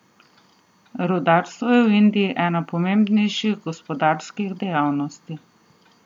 Rudarstvo je v Indiji ena pomembnejših gospodarskih dejavnosti.